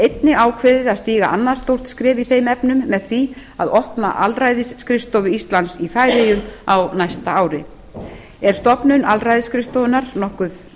einnig ákveðið að stíga annað stórt skref í þeim efnum með því að opna aðalræðisskrifstofu íslands í færeyjum á næsta ári er stofnun aðalræðisskrifstofunnar nokkur